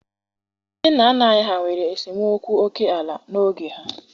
Ndị nna nna anyị ha nwere esemokwu oke ala n'oge ha.